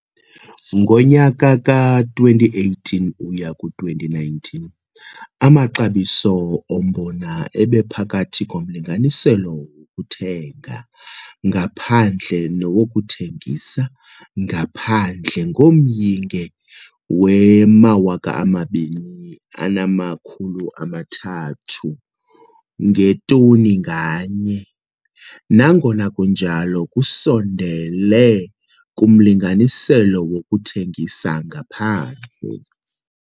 Ngonyaka ka-2018 uya ku-2019, amaxabiso ombona ebephakathi komlinganiselo wokuthenga ngaphandle nowokuthengisa ngaphandle ngomyinge we-2 300 ngetoni, nangona kunjalo, kusondele kumlinganiselo wokuthengisa ngaphandle.